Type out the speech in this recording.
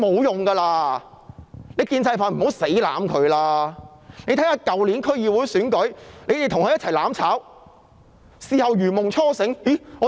大家看看去年的區議會選舉，他們與林鄭月娥一起"攬炒"，事後才如夢初醒。